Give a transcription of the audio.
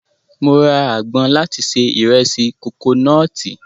Mo ra agbọn láti se ìrẹsì kokonọ́ọ̀tì.